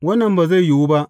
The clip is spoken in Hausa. Wannan ba zai yiwu ba!